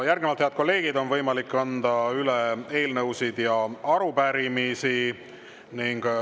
Järgnevalt, head kolleegid, on võimalik anda üle eelnõusid ja arupärimisi.